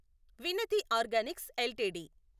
వినతి Organics LTD